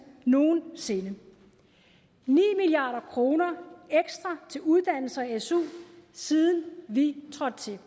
nogensinde ni milliard kroner ekstra til uddannelse og su siden vi trådte til